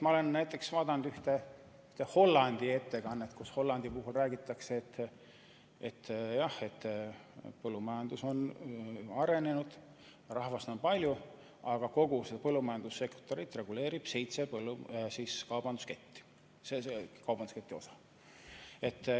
Ma olen vaadanud ühte Hollandi ettekannet, kus räägitakse, et jah, Hollandi põllumajandus on arenenud, rahvast on palju, aga kogu põllumajandussektorit reguleerivad seitse kaubandusketti.